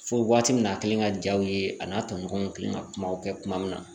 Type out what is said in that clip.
Fo waati min na a kɛlen ka jaw ye a n'a tɔɲɔgɔnw kelen ka kumaw kɛ kuma min na